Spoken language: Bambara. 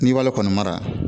N'i b'ale kɔni mara